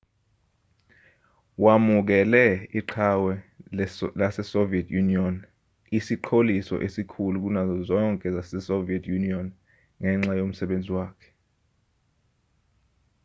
wamukele iqhawe lasesoviet union isiqholiso esikhulu kunazo zonke zasesoviet union ngenxa yomsebenzi wakhe